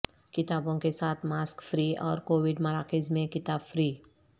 کتابوں کے ساتھ ماسک فری اورکووڈ مراکز میں کتاب فری